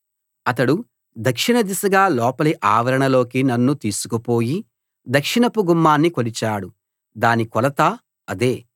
అతడు దక్షిణ దిశగా లోపలి ఆవరణలోకి నన్ను తీసుకుపోయి దక్షిణపు గుమ్మాన్ని కొలిచాడు దాని కొలత అదే